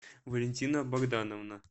валентина богдановна